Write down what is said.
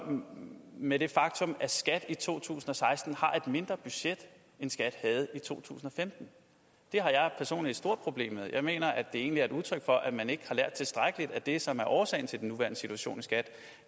med det faktum at skat i to tusind og seksten har et mindre budget end skat havde i 2015 det har jeg personligt et stort problem med jeg mener at det egentlig er udtryk for at man ikke har lært tilstrækkeligt af det som er årsagen til den nuværende situation i skat